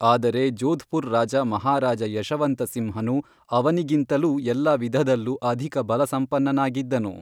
ಆದರೆ ಜೋಧ್‌ಪುರ್ ರಾಜ ಮಹಾರಾಜಾ ಯಶವಂತಸಿಂಹನು ಅವನಿಗಿಂತಲೂ ಎಲ್ಲ ವಿಧದಲ್ಲೂ ಅಧಿಕ ಬಲಸಂಪನ್ನನಾಗಿದ್ದನು